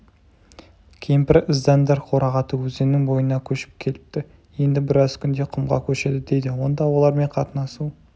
кемпір іздәндар қорағаты өзенінің бойына көшіп келіпті енді біраз күнде құмға көшеді дейді онда олармен қатынасу